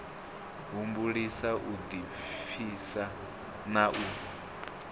humbulisa u ḓipfisa na u